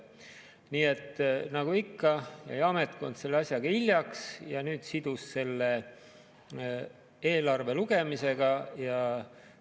Nii et nagu ikka jäi ametkond selle asjaga hiljaks ja nüüd sidus selle eelnõu lugemise eelarvega.